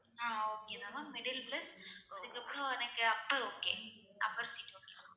ஆஹ் okay தான் ma'am middle plus அதுக்கப்புறம் எனக்கு upper okay upper seat okay